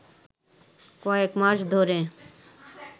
কয়েক মাস ধরে